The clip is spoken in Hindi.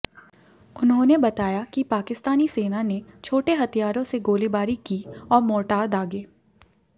उन्होंने बताया कि पाकिस्तानी सेना ने छोटे हथियारों से गोलीबारी की और मोर्टार दागे